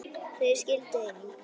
Þau skildu einnig.